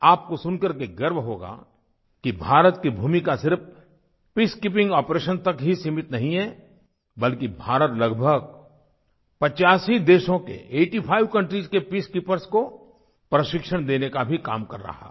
आपको सुन करके गर्व होगा कि भारत की भूमिका सिर्फ पीसकीपिंग आपरेशन तक ही सीमित नहीं है बल्कि भारत लगभग 85 देशों के आइटी फाइव कंट्रीज के पीसकीपर्स को प्रशिक्षण देने का भी काम कर रहा है